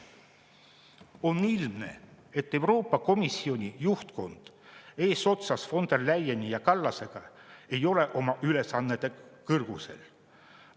On ilmne, et Euroopa Komisjoni juhtkond eesotsas von der Leyeni ja Kallasega ei ole oma ülesannete kõrgusel.